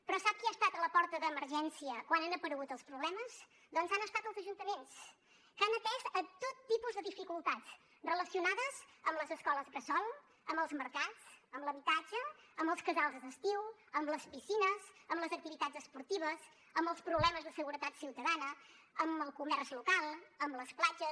però sap qui ha estat a la porta d’emergència quan han aparegut els problemes doncs han estat els ajuntaments que han atès tot tipus de dificultats relacionades amb les escoles bressol amb els mercats amb l’habitatge amb els casals d’estiu amb les piscines amb les activitats esportives amb els problemes de seguretat ciutadana amb el comerç local amb les platges